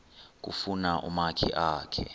kufuna umakhi akhe